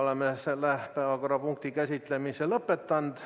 Oleme selle päevakorrapunkti käsitlemise lõpetanud.